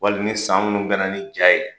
Wali ni san minnu bɛn ni ja ye.